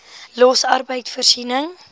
los arbeid voorsiening